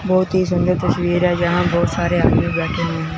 बहुत ही सुंदर तस्वीर है जहां बहुत सारे आदमी बैठे हुए हैं।